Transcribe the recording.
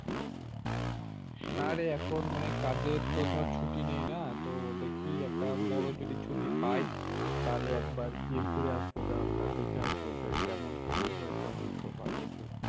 না রে এখন মানে কাজের তো ধর ছুটি নেই না তো দেখি একটা বড়ো যদি ছুটি পাই তাহলে একবার গিয়ে ঘুরে আসবো গ্রামটা দেখে আসবো। যে কেমন কি হয়েছে উন্নত বা কিছু।